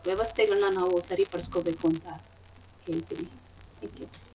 ವ್ಯವಸ್ಥೆಗಳ್ನ ನಾವು ಸರಿ ಪಡಿಸ್ಕೊಬೇಕು ಅಂತ ಹೇಳ್ತಿನಿ. Thank you .